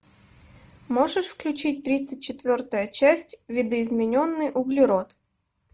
можешь включить тридцать четвертая часть видоизмененный углерод